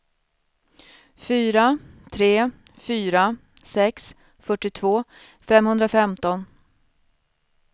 fyra tre fyra sex fyrtiotvå femhundrafemton